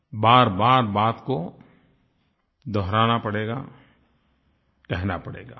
बारबार बात को दोहराना पड़ेगा कहना पड़ेगा